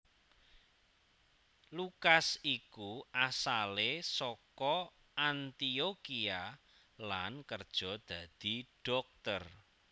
Lukas iku asalé saka Antiokhia lan kerja dadi dhokter